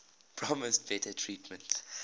promised better treatment